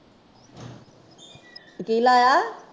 ਕਿ ਲਾਇਆ?